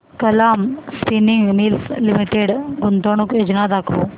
Kalam spinning mills limited गुंतवणूक योजना दाखव